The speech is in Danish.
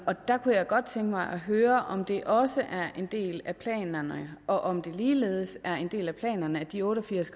der kunne jeg godt tænke mig at høre om det også er en del af planerne og om det ligeledes er en del af planerne at de otte og firs